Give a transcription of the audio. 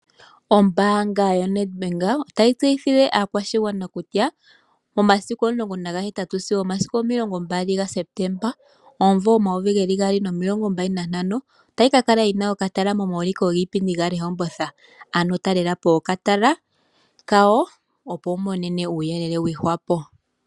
Ombaanga yo Nedbank otayi tseyithile aakwashigwana kutya momasiku 18 sigo omasiku 20 ga Septemba omumvo 2025 otayi ka kala yina okatala momauliko giipindi gaRehoboth, ano talelapo okatala kawo opo wu imonene uuyelele gwiihwapo.